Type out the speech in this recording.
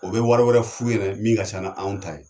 O be wari wɛrɛ f'u yɛnɛ min ka ca n'anw ta ye